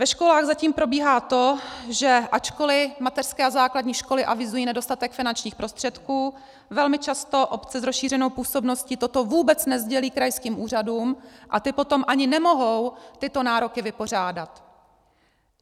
Ve školách zatím probíhá to, že ačkoli mateřské a základní školy avizují nedostatek finančních prostředků, velmi často obce s rozšířenou působností toto vůbec nesdělí krajským úřadům a ty potom ani nemohou tyto nároky vypořádat.